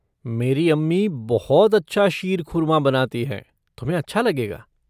मेरी अम्मी बहुत अच्छा शीर खुरमा बनाती हैं, तुम्हें अच्छा लगेगा।